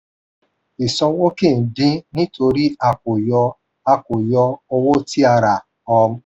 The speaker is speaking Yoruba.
ìsanwó kì í din nítorí a kò yọ a kò yọ owó tí a rà. um